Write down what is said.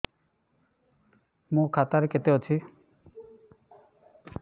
ମୋ ଖାତା ରେ କେତେ ଅଛି